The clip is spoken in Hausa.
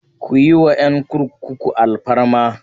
Ku yi wa 'yan kurkuku alfarma!